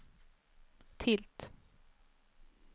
tilt